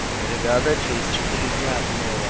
ребята через четыре дня обнова